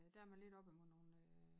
Ja der man lidt oppe mod nogen øh